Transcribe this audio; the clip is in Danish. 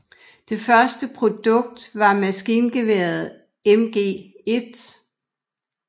Det første produkt var maskingeværet MG1